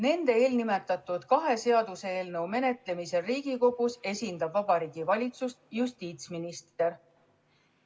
Kahe eelnimetatud seaduseelnõu menetlemisel Riigikogus esindab Vabariigi Valitsust justiitsminister.